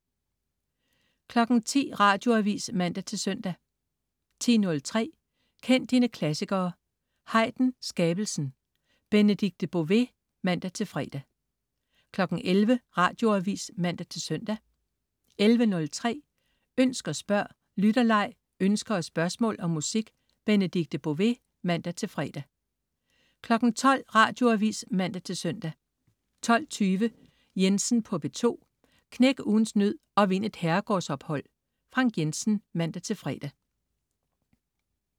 10.00 Radioavis (man-søn) 10.03 Kend dine klassikere. Haydn: Skabelsen. Benedikte Bové (man-fre) 11.00 Radioavis (man-søn) 11.03 Ønsk og spørg. Lytterleg, ønsker og spørgsmål om musik. Benedikte Bové (man-fre) 12.00 Radioavis (man-søn) 12.20 Jensen på P2. Knæk ugens nød og vind et herregårdsophold. Frank Jensen (man-fre)